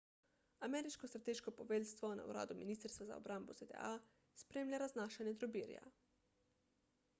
ameriško strateško poveljstvo na uradu ministrstva za obrambo zda spremlja raznašanje drobirja